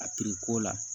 A ko la